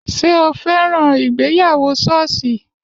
Ṣé o fẹ́ràn ìgbéyàwó ṣọ́ọ̀ṣì?